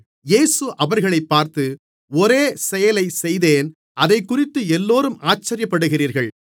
இயேசு அவர்களைப் பார்த்து ஒரே செயலை செய்தேன் அதைக்குறித்து எல்லோரும் ஆச்சரியப்படுகிறீர்கள்